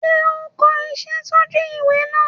Sé o n ko isé sójú ìwé náà